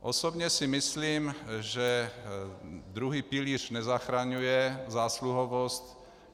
Osobně si myslím, že druhý pilíř nezachraňuje zásluhovost.